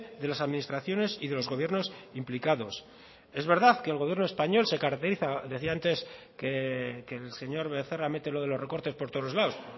de las administraciones y de los gobiernos implicados es verdad que el gobierno español se caracteriza decía antes que el señor becerra mete lo de los recortes por todos los lados